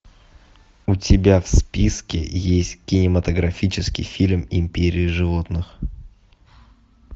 у тебя в списке есть кинематографический фильм империя животных